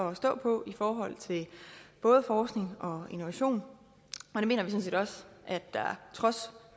at stå på i forhold til både forskning og innovation og set også at der trods